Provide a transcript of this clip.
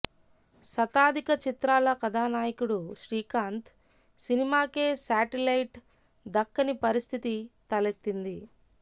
శతాధిక చిత్రాల కథానాయకుడు శ్రీకాంత్ సినిమాకే శాటిలైట్ దక్కని పరిస్థితి తలెత్తింది